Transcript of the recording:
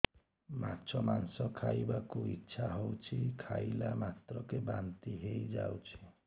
ମାଛ ମାଂସ ଖାଇ ବାକୁ ଇଚ୍ଛା ହଉଛି ଖାଇଲା ମାତ୍ରକେ ବାନ୍ତି ହେଇଯାଉଛି